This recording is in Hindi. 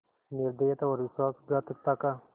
निर्दयता और विश्वासघातकता का